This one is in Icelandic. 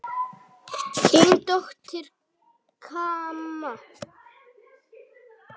Þín dóttir, Kamma.